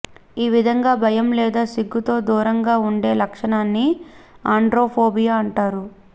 ఈ విధంగా భయం లేదా సిగ్గుతో దూరంగా వుండే లక్షణాన్ని ఆండ్రోఫోబియా అంటారు